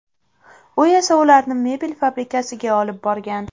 U esa ularni mebel fabrikasiga olib borgan.